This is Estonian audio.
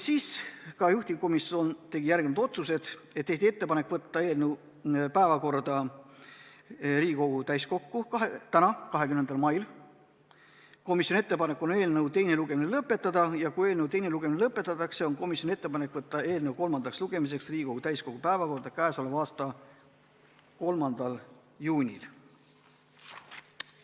Juhtivkomisjon tegi järgmised otsused: teha ettepanek võtta eelnõu päevakorda Riigikogu täiskokku tänaseks, 20. maiks, eelnõu teine lugemine lõpetada ja kui teine lugemine lõpetatakse, võtta eelnõu kolmandaks lugemiseks Riigikogu täiskogu päevakorda 3. juuniks.